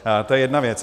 To je jedna věc.